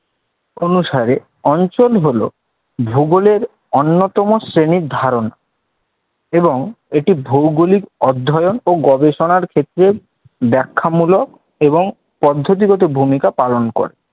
অনুসারে অঞ্চল হল ভূগোলের অন্যতম শ্রেণীর ধারণ এবং এটি ভৌগলিক অধ্যয়ণ ও গবেষণার ক্ষেত্রে ব্যাখ্যামূলক এবং পদ্ধতিগত ভূমিকা পালন করে